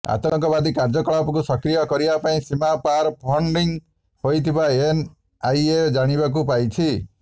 ଆତଙ୍କବାଦୀ କାର୍ଯ୍ୟକଳାପକୁ ସକ୍ରିୟ କରିବା ପାଇଁ ସୀମା ପାର ଫଣ୍ଡିଂ ହୋଇଥିବା ଏନଆଇଏ ଜାଣିବାକୁ ପାଇଛି